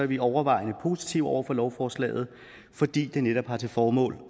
vi overvejende positive over for lovforslaget fordi det netop har til formål